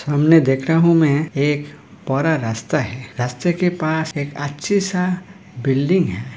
सामने देख रहा हूँ मैं एक परा रास्ता है। रास्ते के पास एक अच्छी सा बिल्डिंग है।